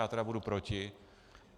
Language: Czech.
Já tedy budu proti.